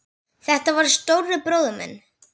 Þetta var stóri bróðir minn.